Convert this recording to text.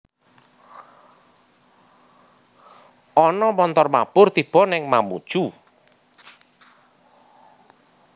Ono montor mabur tibo ning Mamuju